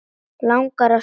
Langar að þvo sér.